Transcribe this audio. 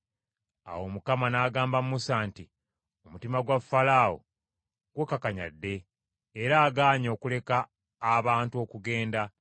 Awo Mukama n’agamba Musa nti, “Omutima gwa Falaawo gukakanyadde, era agaanye okuleka abantu okugenda.